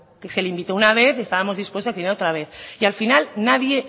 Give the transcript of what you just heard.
que se le invitó una vez y estábamos dispuestos a que viniera otra vez y al final nadie